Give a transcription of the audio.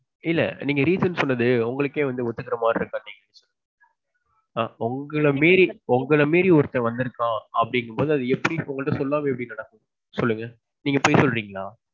இல்ல நீங்க reason சொன்னது. உங்களுக்கே வந்து ஒத்துக்குற மாதிரி இருக்கா இல்லியா. ஆ உங்கள மீறி உங்கள மீறி ஒருத்தன் வந்திருக்கான் அப்பிடிங்கிறப்போ அது எப்பிடி உங்க கிட்ட சொல்லாம எப்பிடி நடக்கும். சொல்லுங்க. நீங்க பொய் சொல்றீங்களா?